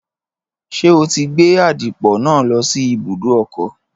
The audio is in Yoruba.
Ṣé o ti gbé àdìpọ̀ náà lọ sí ibùdó ọkọ̀?